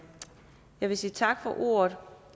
vil sige tak for ordet